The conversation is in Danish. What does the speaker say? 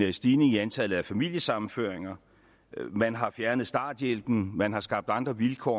en stigning i antallet af familiesammenføringer man har fjernet starthjælpen man har skabt andre vilkår